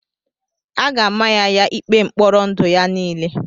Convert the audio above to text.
A ga-ama ya ya ikpe mkpọrọ ndụ ya niile.